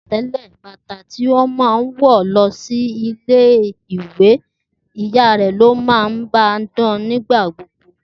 Teletele ,bata ti o maan wọ lọ sì ile iwe, iya rẹ lo ma ba dan nigbagbogbo.